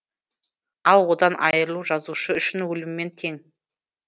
ал одан айырылу жазушы үшін өліммен тең